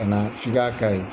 Kana f'i ka ka ye